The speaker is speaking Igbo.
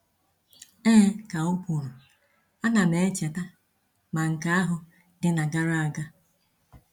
‘Ee,’ ka o kwuru, ‘A na m echeta, ma nke ahụ dị na gara aga.’